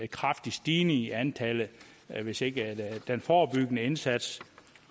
kraftig stigning i antallet hvis ikke den forebyggende indsats